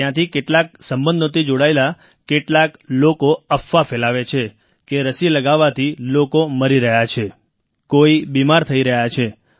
ત્યાંથી કેટલાક સંબંધોથી જોડાયેલા કેટલાક લોકો અફવા ફેલાવે છે કે રસી લગાવવાથી લોકો મરી રહ્યા છે કોઈ બીમાર થઈ રહ્યા છે